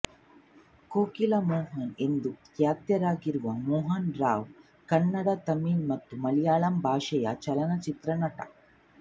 ಕೋಕಿಲ ಮೋಹನ್ ಎಂದೇ ಖ್ಯಾತರಾಗಿರುವ ಮೋಹನ್ ರಾವ್ ಕನ್ನಡತಮಿಳು ಮತ್ತು ಮಲಯಾಳಂ ಭಾಷೆಯ ಚಲನಚಿತ್ರ ನಟ